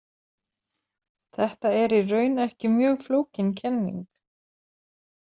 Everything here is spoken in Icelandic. Þetta er í raun ekki mjög flókin kenning.